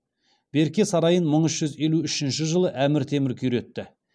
берке сарайын мың үш жүз елу үшінші жылы әмір темір күйретті